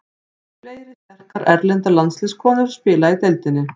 Fleiri sterkar erlendar landsliðskonur spila í deildinni.